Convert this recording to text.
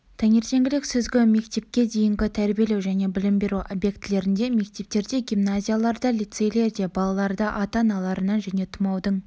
таңертеңгілік сүзгі мектепке дейінгі тәрбиелеу және білім беру объектілерінде мектептерде гимназияларда лицейлерде балаларды ата-аналарынан және тұмаудың